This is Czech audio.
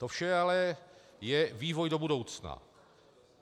To vše ale je vývoj do budoucna.